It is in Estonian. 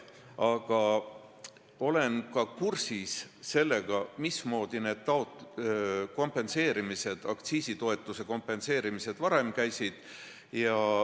Aga ma olen kursis, mismoodi aktsiisitoetuse kompenseerimine varem käis.